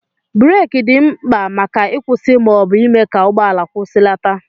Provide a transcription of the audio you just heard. bureki dị mkpa maka ịkwụsị ma ọ bụ ịme ka ụgbọala kwụsịlata